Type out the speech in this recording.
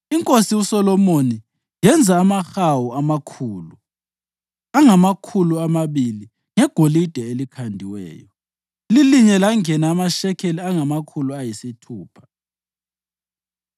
Inkosi uSolomoni yenza amahawu amakhulu angamakhulu amabili ngegolide elikhandiweyo; lilinye langena amashekeli angamakhulu ayisithupha.